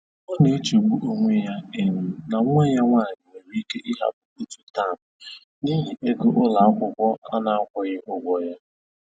Ọ na-echegbu onwe ya um na nwa ya nwanyị nwere ike ịhapụ otu tem n'ihi ego ụlọ akwụkwọ na-akwụghị ụgwọ ya